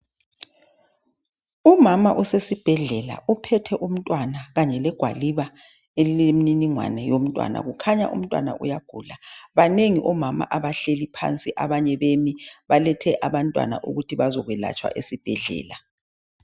Umama osesibhedlela uphethe umntwana kanye legwaliba elilemniningane yomntwana, kukhanya umntwana uyagula banengi omama abahleli phansi abanye bemi balethe abantwana ukuthi bazokwelatshwa esibhedlela .